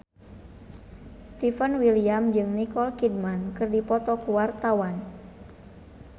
Stefan William jeung Nicole Kidman keur dipoto ku wartawan